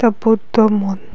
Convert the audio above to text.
এটা বুদ্ধ মন--